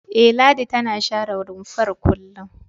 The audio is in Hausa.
E, Ladi tana share rumfar kullum.